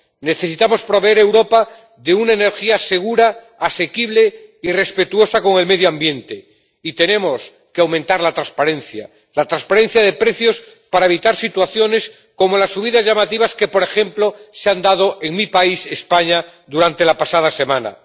Necesitamos proveer Europa de una energía segura, asequible y respetuosa con el medio ambiente y tenemos que aumentar la transparencia la transparencia de precios para evitar situaciones como las subidas llamativas que por ejemplo se han dado en mi país, España, durante la pasada semana.